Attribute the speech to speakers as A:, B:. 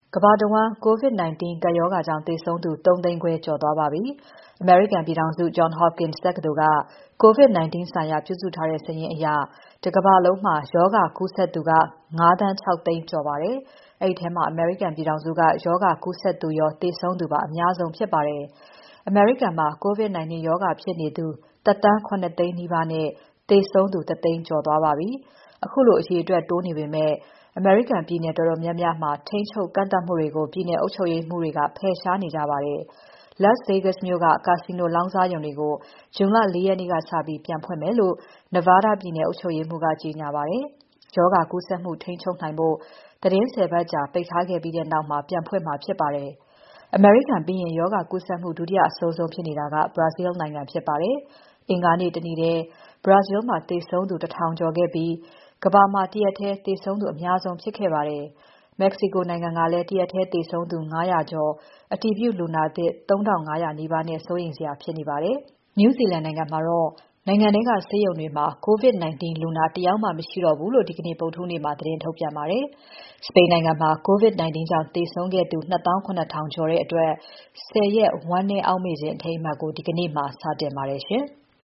A: ကမ္ဘာတဝန်း COVID-19 ကပ်ရောဂါကြောင့် သေဆုံးသူ ၃၅၀,၀၀၀ ကျော် သွားပါပြီ။ အမေရိကန်ပြည်ထောင်စု Johns Hopkins တက္ကသိုလ်က COVID-19 ဆိုင်ရာ ပြုစုထားတဲ့ စာရင်းအရ တကမ္ဘာလုံးမှာ ရောဂါကူးစက်သူက ၅,၆၀၀,၀၀၀ ကျော်နေပါပြီ။ အဲဒီထဲမှာ အမေရိကန်ပြည်ထောင်စုက ကူးစက်သူရော၊ သေဆုံးသူပါ အများဆုံးဖြစ်ပါတယ်။ အမေရိကန်မှာ COVID-19 ရောဂါဖြစ်နေသူ ၁,၇၀၀,၀၀၀ နီးပါးနဲ့ သေဆုံးသူ ၁၀၀,၀၀၀ ကျော်သွားပါပြီ။ ခုလို အရေအတွက်တိုးနေပေမဲ့ ပြည်နယ်တော်တော်များများမှာ ထိန်းချုပ် ကန့်သတ်မှုတွေကို ပြည်နယ်အုပ်ချုပ်ရေးမှူးတွေက ဖယ်ရှားနေကြပါတယ်။ Las Vegas မြို့က ကာစီနိုလောင်းကစားရုံတွေကို ဇွန် ၄ ရက်နေ့ကစပြီး ပြန်ဖွင့်မယ်လို့ Nevada ပြည်နယ်အုပ်ချုပ်ရေးမှူးက ကြေညာပါတယ်။ ရောဂါကူးစက်မှု ထိန်းချုပ်နိုင်ဖို့ သီတင်း ၁၀ ပတ်ကြာ ပိတ်ထားခဲ့ပြီးနောက် ပြန်ဖွင့်မှာ ဖြစ်ပါတယ်။ အမေရိကန်ပြီးရင် ရောဂါကူးစက်မှု ဒုတိယအဆိုးဆုံးဖြစ်နေတာက Brazil နိုင်ငံဖြစ်ပါတယ်။ အင်္ဂါနေ့ တနေ့ထဲ Brazil မှာ သေဆုံးသူ ၁၀၀၀ ကျော်ခဲ့ပြီး ကမ္ဘာမှာ တရက်ထဲသေဆုံးသူ အများဆုံးဖြစ်ခဲ့ပါတယ်။ Mexico နိုင်ငံကလည်း တရက်ထဲ သေဆုံးသူ ၅၀၀ ကျော်၊ အတည်ပြုလူနာသစ် ၃,၅၀၀ နီးပါးနဲ့ စိုးရိမ်စရာဖြစ်နေပါတယ်။ New Zealand နိုင်ငံကတော့ နိုင်ငံထဲက ဆေးရုံတွေမှာ COVID-19 လူနာ တယောက်မှ မရှိတော့ဘူးလို့ ဒီနေ့ ဗုဒ္ဓဟူးနေ့မှာ သတင်းထုတ်ပြန်ပါတယ်။ စပိန်နိုင်ငံမှာ COVID-19 ကြောင့် သေဆုံးခဲ့သူ ၂၇,၀၀၀ ကျော်အတွက် ၁၀ ရက် ဝမ်းနည်းအောက်မေ့ခြင်းအထိမ်းအမှတ်ကို ဒီကနေ့မှာ စတင်ပါတယ်ရှင်။